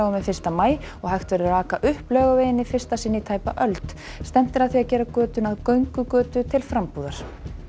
við fyrsta maí og hægt verður að aka upp Laugaveginn í fyrsta sinn í tæpa öld stefnt er að því að gera götuna að göngugötu til frambúðar